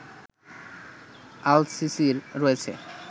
আল সিসির রয়েছে